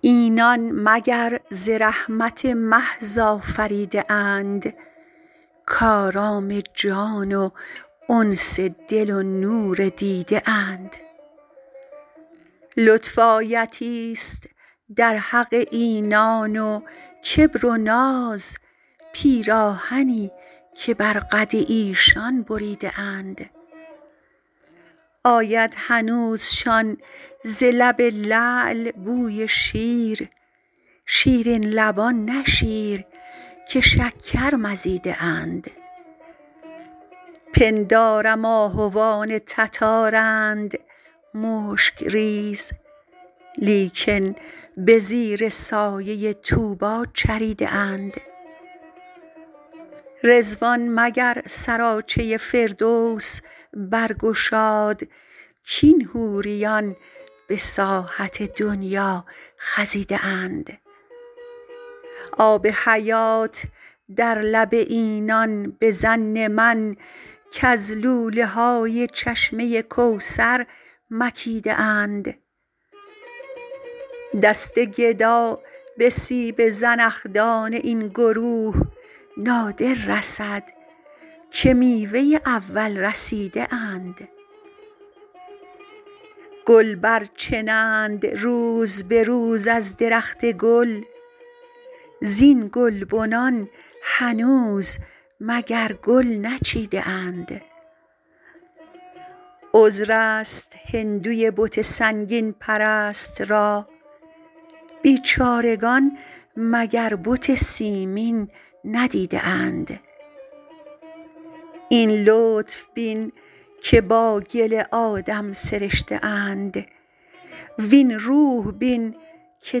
اینان مگر ز رحمت محض آفریده اند کآرام جان و انس دل و نور دیده اند لطف آیتی ست در حق اینان و کبر و ناز پیراهنی که بر قد ایشان بریده اند آید هنوزشان ز لب لعل بوی شیر شیرین لبان نه شیر که شکر مزیده اند پندارم آهوان تتارند مشک ریز لیکن به زیر سایه طوبی چریده اند رضوان مگر سراچه فردوس برگشاد کاین حوریان به ساحت دنیا خزیده اند آب حیات در لب اینان به ظن من کز لوله های چشمه کوثر مکیده اند دست گدا به سیب زنخدان این گروه نادر رسد که میوه اول رسیده اند گل برچنند روز به روز از درخت گل زین گلبنان هنوز مگر گل نچیده اند عذر است هندوی بت سنگین پرست را بیچارگان مگر بت سیمین ندیده اند این لطف بین که با گل آدم سرشته اند وین روح بین که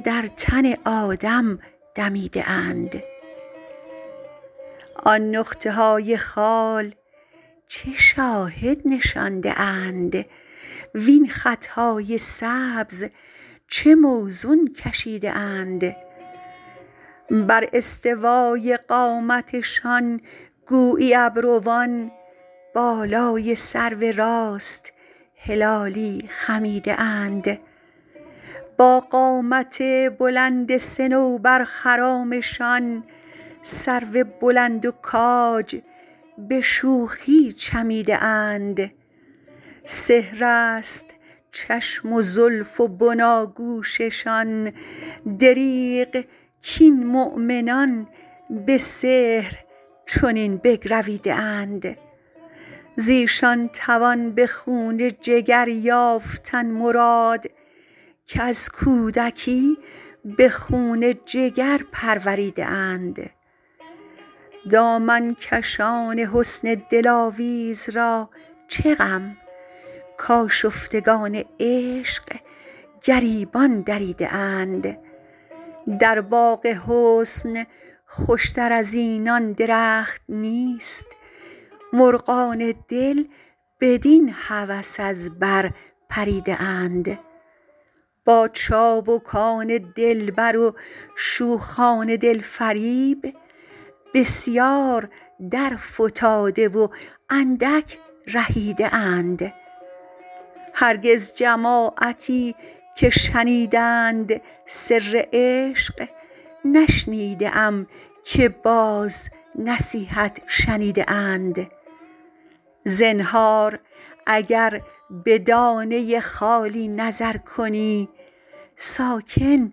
در تن آدم دمیده اند آن نقطه های خال چه شاهد نشانده اند وین خط های سبز چه موزون کشیده اند بر استوای قامتشان گویی ابروان بالای سرو راست هلالی خمیده اند با قامت بلند صنوبرخرامشان سرو بلند و کاج به شوخی چمیده اند سحر است چشم و زلف و بناگوششان دریغ کاین مؤمنان به سحر چنین بگرویده اند ز ایشان توان به خون جگر یافتن مراد کز کودکی به خون جگر پروریده اند دامن کشان حسن دلاویز را چه غم کآشفتگان عشق گریبان دریده اند در باغ حسن خوش تر از اینان درخت نیست مرغان دل بدین هوس از بر پریده اند با چابکان دلبر و شوخان دل فریب بسیار درفتاده و اندک رهیده اند هرگز جماعتی که شنیدند سر عشق نشنیده ام که باز نصیحت شنیده اند زنهار اگر به دانه خالی نظر کنی ساکن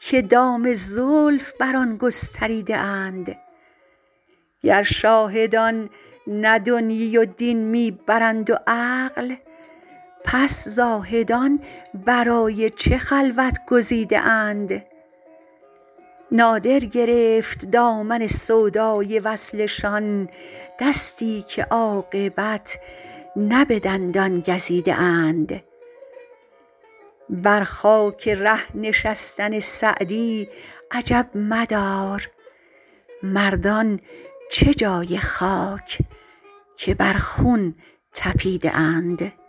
که دام زلف بر آن گستریده اند گر شاهدان نه دنیی و دین می برند و عقل پس زاهدان برای چه خلوت گزیده اند نادر گرفت دامن سودای وصلشان دستی که عاقبت نه به دندان گزیده اند بر خاک ره نشستن سعدی عجب مدار مردان چه جای خاک که بر خون طپیده اند